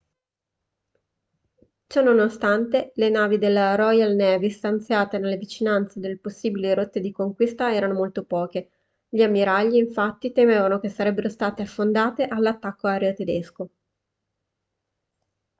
ciononostante le navi della royal navy stanziate nelle vicinanze delle possibili rotte di conquista erano molto poche gli ammiragli infatti temevano che sarebbero state affondate dall'attacco aereo tedesco